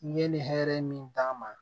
N ye nin hɛrɛ min d'a ma